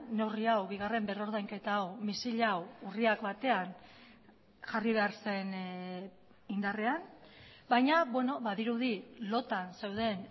neurri hau bigarren berrordainketa hau misil hau urriak batean jarri behar zen indarrean baina badirudi lotan zeuden